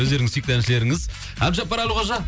өздеріңіздің сүйікті әншілерңіз әбдіжаппар әлқожа